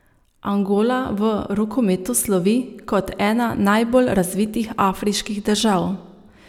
Angola v rokometu slovi kot ena najbolj razvitih afriških držav.